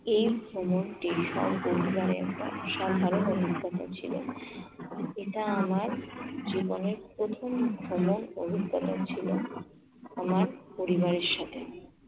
এই ভ্রমণ এটা আমার জীবনের প্রথম ভ্রমণ অভিজ্ঞতা ছিল আমার পরিবারের সাথে।